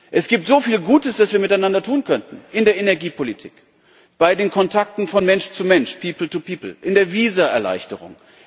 Es gibt so viel Gutes, das wir miteinander tun könnten in der Energiepolitik, bei den Kontakten von Mensch zu Mensch, in der Visa Erleichterung.